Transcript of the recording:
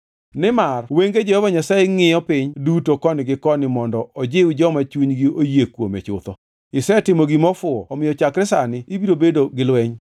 Nimar wenge Jehova Nyasaye ngʼiyo piny duto koni gi koni mondo ojiw joma chunygi oyie kuome chutho. Isetimo gima ofuwo omiyo chakre sani ibiro bedo gi lweny.”